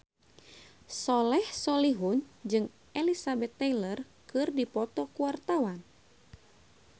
Soleh Solihun jeung Elizabeth Taylor keur dipoto ku wartawan